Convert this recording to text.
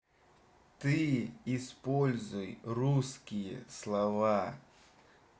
ты используй русские слова